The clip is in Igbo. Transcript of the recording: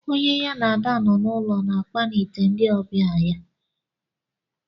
Onye ya na Ada nọ na-ulo na akpanite ndị ọbịa ya.